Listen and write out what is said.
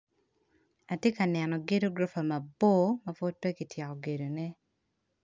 Atye ka neno gedo guropa mabor mapud pekityeko gedo ne.